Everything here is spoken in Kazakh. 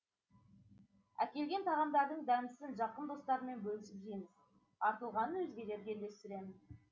әкелген тағамдардың дәмдісін жақын достармен бөлісіп жейміз артылғанын өзгелерге үлестіремін